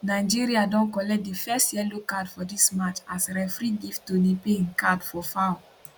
nigeria don collect di first yellow card for dis match as referee give toni payne card for foul